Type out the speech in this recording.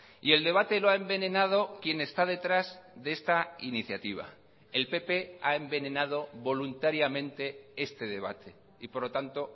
y el debate lo ha envenenado quien está detrás de esta iniciativa el pp ha envenenado voluntariamente este debate y por lo tanto